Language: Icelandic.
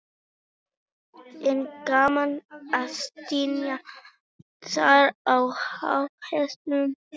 er gaman að sitja þarna á háa hestinum þínum